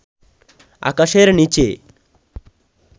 আকাশের নিচে